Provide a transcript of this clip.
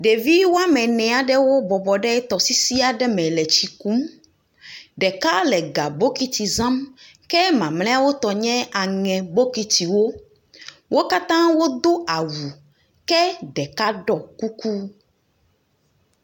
Ɖevi woame ene aɖewo bɔbɔ ɖe tɔsisi aɖe me le tsi kum, ɖeka le ga bokuti zam, ke mamlɛawo tɔ nye aŋe bokitiwo. Wo katã wodo awu ke ɖeka ɖɔ kuku.